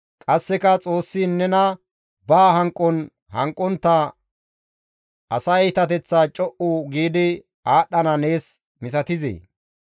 Qasseka Xoossi nena ba hanqon hanqontta asa iitateththa co7u giidi aadhdhana nees misatizee?